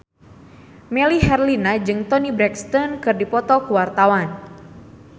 Melly Herlina jeung Toni Brexton keur dipoto ku wartawan